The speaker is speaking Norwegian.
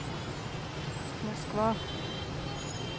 Moskva